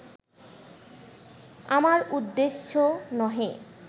আমার উদ্দেশ্য নহে